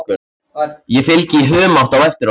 Ég fylgi í humátt á eftir honum.